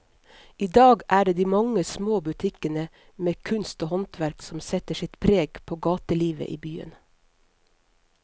I dag er det de mange små butikkene med kunst og håndverk som setter sitt preg på gatelivet i byen.